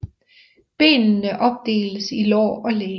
Benene opdeles i lår og læg